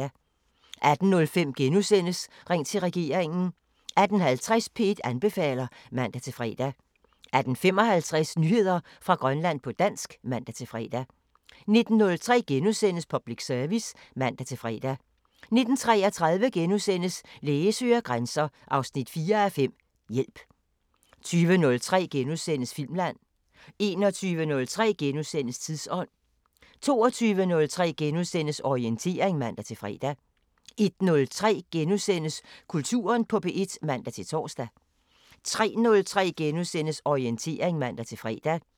18:05: Ring til regeringen * 18:50: P1 anbefaler (man-fre) 18:55: Nyheder fra Grønland på dansk (man-fre) 19:03: Public Service *(man-fre) 19:33: Læge søger grænser 4:5 – Hjælp * 20:03: Filmland * 21:03: Tidsånd * 22:03: Orientering *(man-fre) 01:03: Kulturen på P1 *(man-tor) 03:03: Orientering *(man-fre)